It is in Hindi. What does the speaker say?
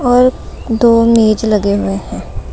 और दो मेज लगे हुए हैं।